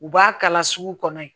U b'a kala sugu kɔnɔ yen